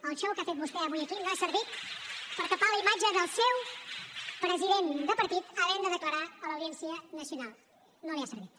el xou que ha fet vostè avui aquí no ha servit per tapar la imatge del seu president de partit havent de declarar a l’audiència nacional no li ha servit